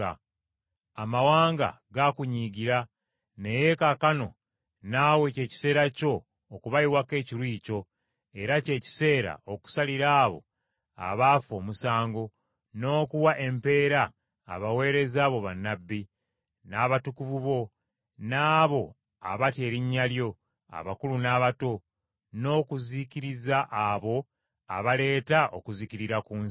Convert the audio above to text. Amawanga gaakunyiigira, naye kaakano naawe ky’ekiseera kyo okubayiwako ekiruyi kyo era ky’ekiseera okusalira abo abaafa omusango, n’okuwa empeera abaweereza bo bannabbi, n’abatukuvu bo, n’abo abatya erinnya lyo abakulu n’abato, n’okuzikiriza abo abaaleeta okuzikirira ku nsi.”